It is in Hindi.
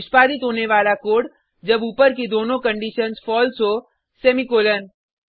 निष्पादित होने वाला कोड जब ऊपर की दोनों कंडिशन्स फलसे हो सेमीकॉलन